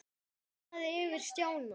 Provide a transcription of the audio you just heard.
Það lifnaði yfir Stjána.